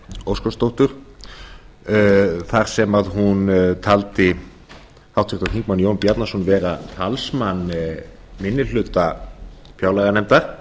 óskarsdóttur þar sem hún taldi háttvirtur þingmaður jón bjarnason vera talsmann minni hluta fjárlaganefndar